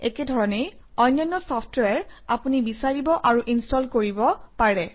একেধৰণেই অন্যান্য চফট্ৱেৰ আপুনি বিচাৰিব আৰু ইনষ্টল কৰিব পাৰে